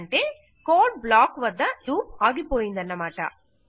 అంటే code block వద్ద loop ఆగిపోయిందన్నమాట